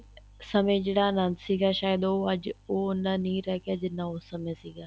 ਸਮੇਂ ਜਿਹੜਾ ਅਨੰਦ ਸੀਗਾ ਸਾਇਦ ਉਹ ਅੱਜ ਉਹਨਾ ਨਹੀਂ ਰਹਿ ਗਿਆ ਜਿੰਨਾ ਉਸ ਸਮੇਂ ਸੀਗਾ